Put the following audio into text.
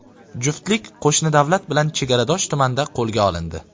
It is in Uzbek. Juftlik qo‘shni davlat bilan chegaradosh tumanda qo‘lga olindi.